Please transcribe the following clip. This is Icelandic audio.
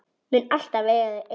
Mun alltaf eiga þau ein.